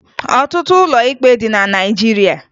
Ọtụtụ ụlọ ikpe dị na Naịjirịa